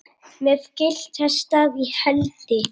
með gyltan staf í hendi.